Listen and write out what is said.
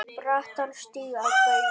brattan stíg að baugi